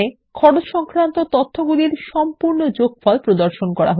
খরচ এর অধীনে তথ্য এর শুধুমাত্র গ্রান্ড টোটাল প্রদর্শন করা হয়